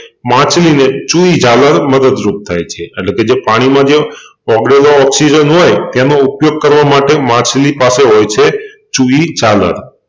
માછલીને ચૂઈ જાલર મદદરૂપ થાય છે અટલેકે જે પાણીમાં જે ઓગળેલો ઓક્સિજન હોય તેનો ઉપયોગ કરવા માટે માછલી પાસે હોય છે ચૂઈ જાલર